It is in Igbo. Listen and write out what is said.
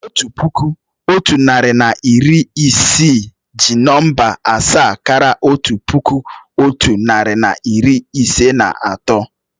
Otu puku, otu narị na iri isii jí nọ̀mbà asaa káraà otu puku, otu narị na iri ise na atọ